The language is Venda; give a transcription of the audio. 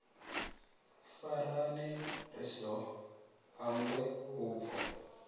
farane ri si hangwe vhubvo